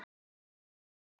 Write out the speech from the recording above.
Allt er þá þrennt er.